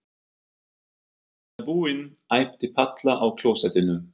Mamma, ég er búin! æpti Palla á klósettinu.